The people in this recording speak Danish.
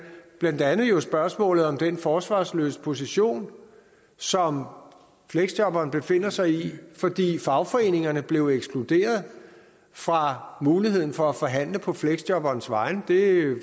blandt andet jo spørgsmålet om den forsvarsløse position som fleksjobberen befinder sig i fordi fagforeningerne blev ekskluderet fra muligheden for at forhandle på fleksjobberens vegne det